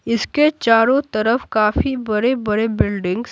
इसके चारों तरफ काफी बड़े-बड़े बिल्डिंग्स --